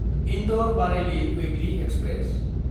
इन्दर–बारेइलि weekly express